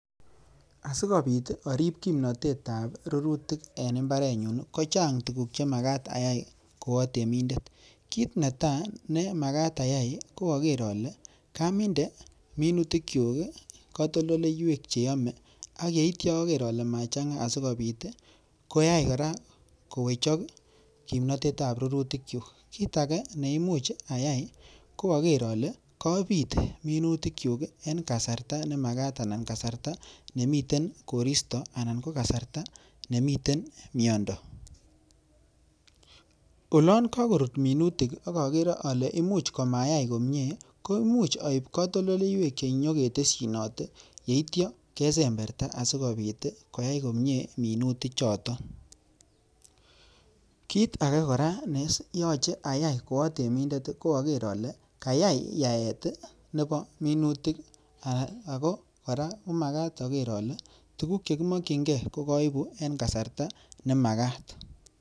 Asikobiit orip kimnatet ab rurutik en mbarenyun, kochang tuguk che imuche ayai ko atemindet , kit netai ko agere ale kaminde minutikyuk katoltoleiywek che yome ak yeityo ager ole machang'a asikobiit koyai kora kowechok kimnatetab minutikyuk. Kit age ne imuch ayai ko ager ale kobiit minutikyuk en kasarta ne magak anan kasarta nemiten koristo anan ko kasarta nemiten miondo. Olon kagorut minutik ak ogere ole imuch komayai komye, koimuch oib katoltoleiywek che nyo ketesyinote yeityo kesemberta asikobit koyai komye minutikchuto. Kit age kora ne yoche ayai koatemindet koyoche agere ale kayai yaet nebo minutik ago kora magat oger ole tuguk che kimokinge kogoibu en kasarta nemagat.